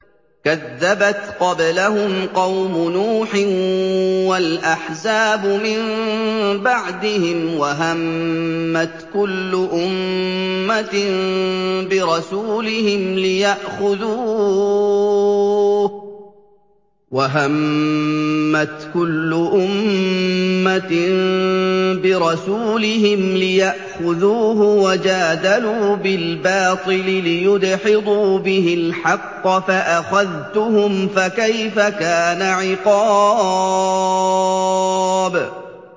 كَذَّبَتْ قَبْلَهُمْ قَوْمُ نُوحٍ وَالْأَحْزَابُ مِن بَعْدِهِمْ ۖ وَهَمَّتْ كُلُّ أُمَّةٍ بِرَسُولِهِمْ لِيَأْخُذُوهُ ۖ وَجَادَلُوا بِالْبَاطِلِ لِيُدْحِضُوا بِهِ الْحَقَّ فَأَخَذْتُهُمْ ۖ فَكَيْفَ كَانَ عِقَابِ